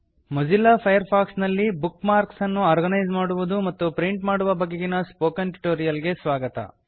Mozilla Firefox ನಲ್ಲಿ bookmarks ಅನ್ನು organise ಮಾಡುವುದು ಮತ್ತು ಪ್ರಿಂಟ್ ಮಾಡುವ ಬಗೆಗಿನ ಸ್ಪೋಕನ್ ಟ್ಯುಟೋರಿಯಲ್ ಗೆ ಸ್ವಾಗತ